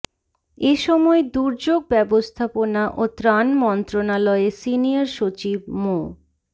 এ সময় দুর্যোগ ব্যবস্থাপনা ও ত্রাণ মন্ত্রণালয়ে সিনিয়র সচিব মো